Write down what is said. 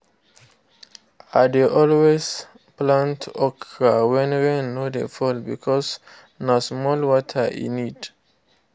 i dey always plant okra when rain no dey fall because na small water e need